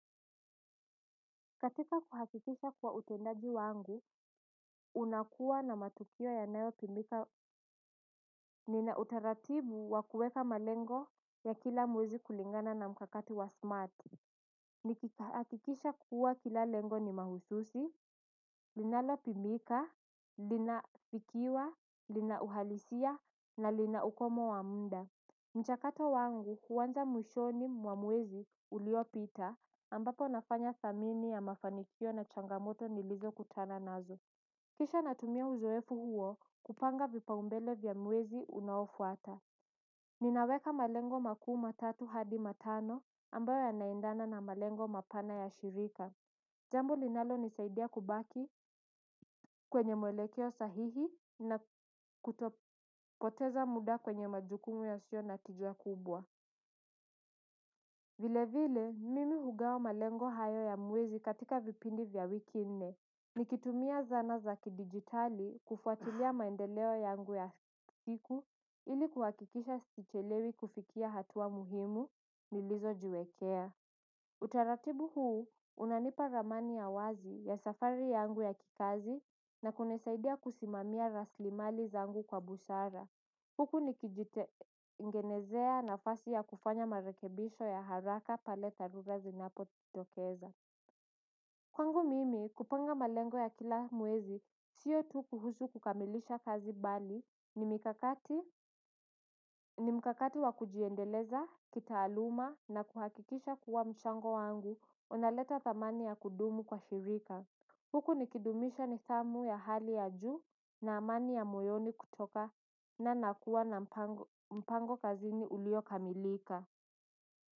Katika kuhakikisha kuwa utendaji wangu, unakuwa na matukio yanayotumika nina utaratibu wa kueka malengo ya kila mwezi kulingana na mkakati wa smarti. Nikihakikisha kuwa kila lengo ni mahususi, linalopimika, linathikiwa, lina uhalisia na lina ukomo wa muda. Mchakato wangu huanza mwishoni mwa mwezi uliopita ambapo nafanya thamini ya mafanikio na changamoto nilizokutana nazo. Kisha natumia uzoefu huo kupanga vipaumbele vya mwezi unaofuata. Ninaweka malengo makuu matatu hadi matano ambayo yanaendana na malengo mapana ya shirika. Jambo linalonisaidia kubaki kwenye mwelekeo sahihi na kutopoteza muda kwenye majukumu yasiyo na tija kubwa. Vile vile, mimi hugawa malengo hayo ya mwezi katika vipindi vya wiki nne. Nikitumia zana za kidijitali kufuatilia maendeleo yangu ya siku ili kuhakikisha sichelewi kufikia hatua muhimu nilizojiwekea. Utaratibu huu, unanipa ramani ya wazi ya safari yangu ya kikazi na kunisaidia kusimamia raslimali zangu kwa busara. Huku nikijitengenezea nafasi ya kufanya marekebisho ya haraka pale tharura zinapojitokeza. Kwangu mimi kupanga malengo ya kila mwezi siyo tu kuhusu kukamilisha kazi bali ni mkakati wa kujiendeleza kitaaluma na kuhakikisha kuwa mchango wangu unaleta thamani ya kudumu kwa shirika. Huku nikidumisha nithamu ya hali ya juu na amani ya moyoni kutokana na kuwa na mpango kazini uliokamilika.